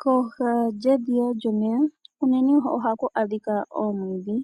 Kooha dhedhiya lyomeya unene ohaku a dhika omwiidhi